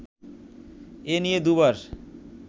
এ নিয়ে দুবার